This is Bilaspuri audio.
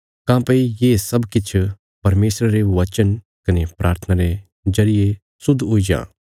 काँह्भई ये सब किछ परमेशरा रे वचन कने प्राथना रे जरिये शुद्ध हुई जां